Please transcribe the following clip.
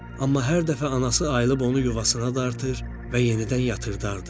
Amma hər dəfə anası ayılıb onu yuvasına dartır və yenidən yatırdardı.